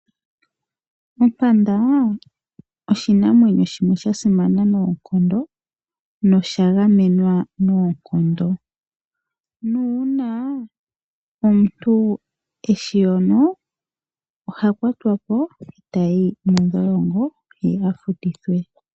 Ompanda oshinanwenyo shimwe shasimana nosha gamenwa noonkondo. Uuna omuntu eshiyono oha kwatwapo etayi mondholongo ye afutithwe.